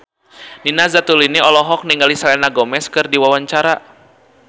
Nina Zatulini olohok ningali Selena Gomez keur diwawancara